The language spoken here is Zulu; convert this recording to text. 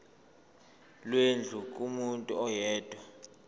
lwendlu kumuntu oyedwa